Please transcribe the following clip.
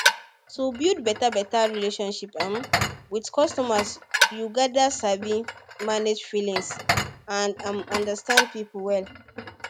to build beta beta relationship um with custumers you gather sabi manage feelings and um understand people well